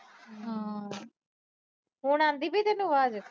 ਹੁਣ ਆਂਦੀ ਪਈ ਤੈਨੂੰ ਆਵਾਜ।